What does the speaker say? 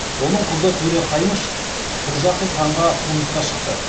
оның қызы төре қаймыш құрджақыз ханға тұрмысқа шықты